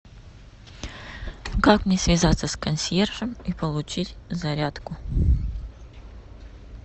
как мне связаться с консьержем и получить зарядку